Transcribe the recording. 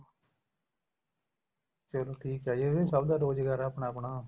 ਚਲੋ ਠੀਕ ਏ ਜੀ ਇਹ ਸਭ ਦਾ ਰੋਜਗਾਰ ਏ ਆਪਣਾ ਆਪਣਾ